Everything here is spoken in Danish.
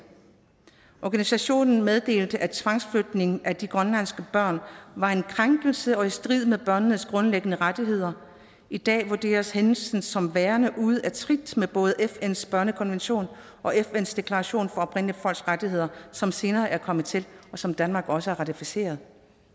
organisationen meddelte at tvangsflytning af de grønlandske børn var en krænkelse og i strid med børnenes grundlæggende rettigheder i dag vurderes hændelsen som værende ude af trit med både fns børnekonvention og fns deklaration for oprindelige folks rettigheder som senere er kommet til og som danmark også har ratificeret